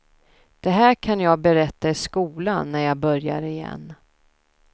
Det här kan jag berätta i skolan när jag börjar igen.